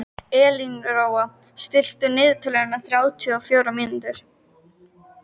Elínóra, stilltu niðurteljara á þrjátíu og fjórar mínútur.